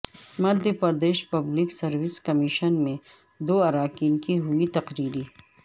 Madhya Pradesh public service commission میں دواراکین کی ہوئی تقرری